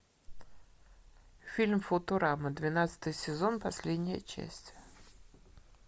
фильм футурама двенадцатый сезон последняя часть